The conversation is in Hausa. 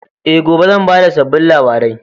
E, gobe zan ba da sabbin labarai.